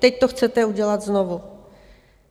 Teď to chcete udělat znovu.